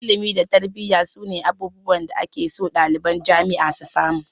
Ilimi da tarbiyya su ne abubuwan da ake so ɗaliban jami'a su samu